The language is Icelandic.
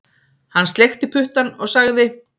Hann sleikti puttann og sagði